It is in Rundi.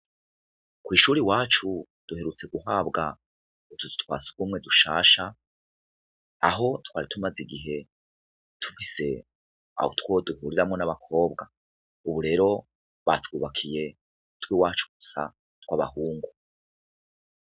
Kwishure iwacu duherutse guhabwa utuzu twasugumwe dushasha aho twari tumaze igihe dufise utwo duhuriramwo nabakobwa ubu rero batwubakiye utwiwacu gusa twabahungu